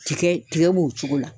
Tigɛ b'o cogo la.